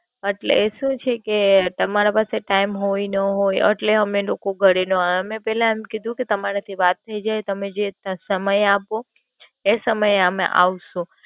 અટલે એ સુ છે કે તમારા પાસે ટાઈમ હોઈ, ન હોઈ અટલે અમે લોકો ઘરે નો આવીએ. અમે પેલા એમ કીધું કે તમારાથી વાત થઇ જાય, તમે જે સમય આપો એ સમયે અમે આવશું.